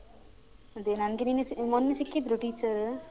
ಅದೇ ನಂಗೆ ನೆನ್ನೆ ಸಿಕ್ಕಿದ್ ಮೊನ್ನೆ ಸಿಕ್ಕಿದ್ರು teacher